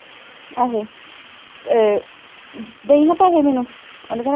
ਆਹੇ ਇਹ ਦੇਈਂ ਹਾਂ ਪੈਸੇ ਮੈਨੂੰ ਉਹਨੇ ਕਹਿਣਾ